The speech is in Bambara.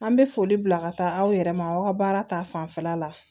An bɛ foli bila ka taa aw yɛrɛ ma aw ka baara ta fanfɛla la